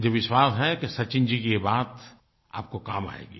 मुझे विश्वास है कि सचिन जी की ये बात आपको काम आएगी